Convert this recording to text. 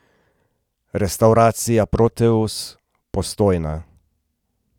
Restavracija Proteus, Postojna.